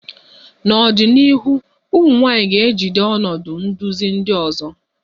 N'ọdịnihu, ụmụ nwanyị ga-ejide ọnọdụ nduzi ndị ọzọ